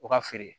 U ka feere